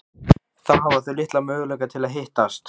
Þá hafa þau litla möguleika til að hittast.